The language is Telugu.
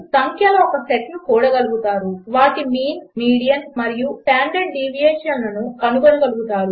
3 సంఖ్యల ఒక సెట్ను కూడగలుగుతారు 4 వాటి మీన్ మీడియన్ మరియు స్టాండర్డ్ డీవియేషన్ కనుగొనగలుగుతారు